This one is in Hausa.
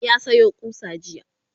ya Sayo ƙusa jiya